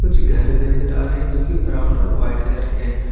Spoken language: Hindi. कुछ घर भी नजर आ रहे है जोकि ब्राउन और व्हाइट कलर के है ।